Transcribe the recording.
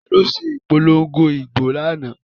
Taló se ìpolongo ìbò lánáà?